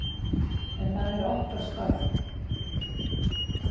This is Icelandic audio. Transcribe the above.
En það er okkar starf.